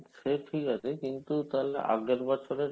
সে ঠিক আছে কিন্তু তাহলে আগের বছরের